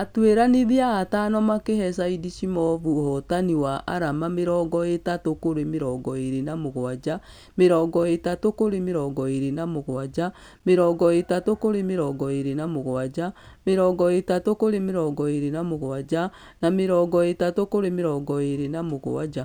Atũĩranithia atano makĩhe saidrshimov ũhotani wa arama mĩrongo ĩtatũ kũrĩ mĩrongo ĩrĩ na mũgwaja , mĩrongo ĩtatũ kũrĩ mĩrongo ĩrĩ na mũgwaja, mĩrongo ĩtatũ kũrĩ mĩrongo ĩrĩ na mũgwaja, mĩrongo ĩtatũ kũrĩ mĩrongo ĩrĩ na mũgwaja na mĩrongo ĩtatũ kũrĩ mĩrongo ĩrĩ na mũgwaja.